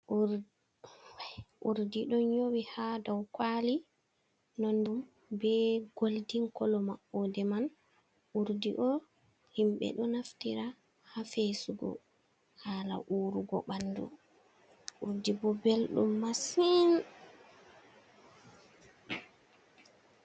Urɗi ɗon yowi ha dow kwali nondum be goldin kolo maude man. Urdi ɗo himbe ɗo naftira ha fesugo hala wurugo banɗu. urdi bo belɗum masin.